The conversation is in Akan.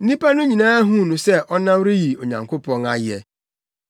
Nnipa no nyinaa huu no sɛ ɔnam reyi Onyankopɔn ayɛ.